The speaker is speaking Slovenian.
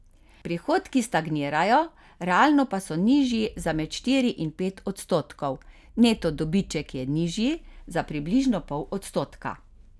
Prihodki stagnirajo, realno pa so nižji za med štiri in pet odstotkov, neto dobiček je nižji za približno pol odstotka.